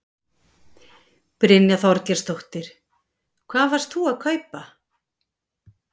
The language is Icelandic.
Brynja Þorgeirsdóttir: Hvað varst þú að kaupa?